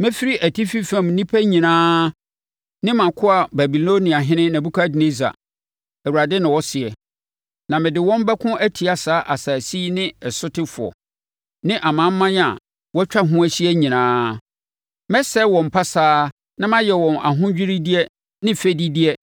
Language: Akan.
mɛfrɛ atifi fam nnipa nyinaa ne mʼakoa Babiloniahene Nebukadnessar,” Awurade na ɔseɛ, “na mede wɔn abɛko atia saa asase yi ne sotefoɔ, ne amanaman a wɔatwa ho ahyia nyinaa. Mɛsɛe wɔn pasaa na mayɛ wɔn ahodwiredeɛ ne fɛdideɛ,